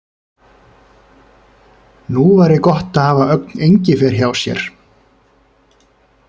Nú væri gott að hafa Ögn Engifer hjá sér!